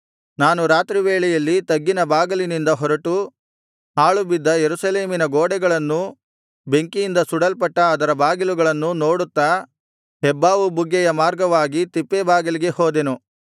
ನಾನು ರಾತ್ರಿವೇಳೆಯಲ್ಲಿ ತಗ್ಗಿನ ಬಾಗಿಲಿನಿಂದ ಹೊರಟು ಹಾಳುಬಿದ್ದ ಯೆರೂಸಲೇಮಿನ ಗೋಡೆಗಳನ್ನೂ ಬೆಂಕಿಯಿಂದ ಸುಡಲ್ಪಟ್ಟ ಅದರ ಬಾಗಿಲುಗಳನ್ನೂ ನೋಡುತ್ತಾ ಹೆಬ್ಬಾವು ಬುಗ್ಗೆಯ ಮಾರ್ಗವಾಗಿ ತಿಪ್ಪೆಬಾಗಿಲಿಗೆ ಹೋದೆನು